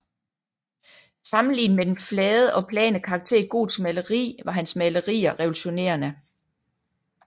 Sammenlignet med den flade og plane karakter i gotisk maleri var hans malerier revolutionerende